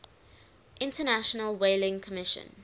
international whaling commission